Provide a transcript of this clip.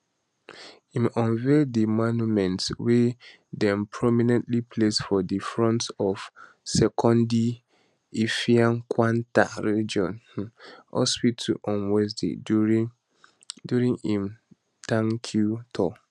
im unveil di monument wey um dem prominently place for di front of sekondi effiankwanta regional um hospital on wednesday during im tankyou tour